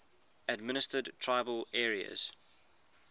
administered tribal areas